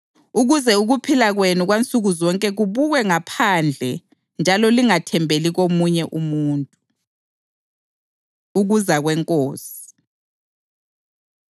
ukuze ukuphila kwenu kwansukuzonke kubukwe ngabangaphandle njalo lingathembeli komunye umuntu. Ukuza KweNkosi